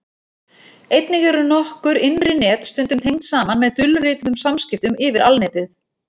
Einnig eru nokkur innri net stundum tengd saman með dulrituðum samskiptum yfir Alnetið.